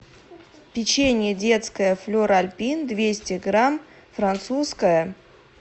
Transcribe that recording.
печенье детское флер альпин двести грамм французское